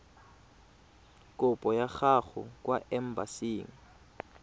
kopo ya gago kwa embasing